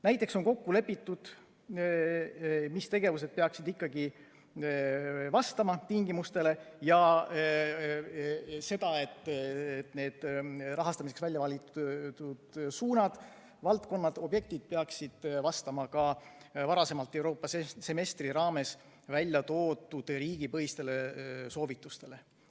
Näiteks on kokku lepitud see, mis tegevused peaksid ikkagi vastama tingimustele, ja see, et need rahastamiseks välja valitud suunad, valdkonnad, objektid peaksid vastama ka varasemalt Euroopa semestri raames välja toodud riigipõhistele soovitustele.